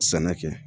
Sɛnɛ kɛ